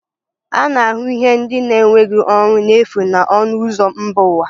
A na-ahụ ihe ndị na-enweghị ọrụ n'efu na ọnụ ụzọ mba ụwa